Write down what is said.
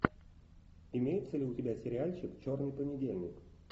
имеется ли у тебя сериальчик черный понедельник